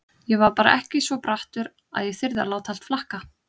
Ég var bara ekki svo brattur að ég þyrði að láta allt flakka.